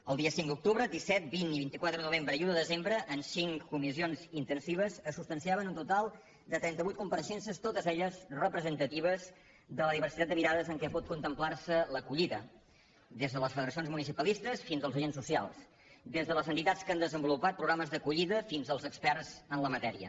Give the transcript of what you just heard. els dies cinc d’octubre disset vint i vint quatre de novembre i un de desembre en cinc comissions intensives es substanciaven un total de trenta vuit compareixences totes elles representatives de la diversitat de mirades amb què pot contemplar se l’acollida des de les federacions municipalistes fins als agents socials des de les entitats que han desenvolupat programes d’acollida fins als experts en la matèria